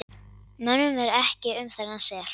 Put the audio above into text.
Mönnum er ekki um þennan sel.